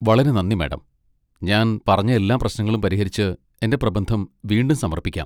വളരെ നന്ദി, മാഡം, ഞാൻ പറഞ്ഞ എല്ലാ പ്രശ്നങ്ങളും പരിഹരിച്ച് എന്റെ പ്രബന്ധം വീണ്ടും സമർപ്പിക്കാം.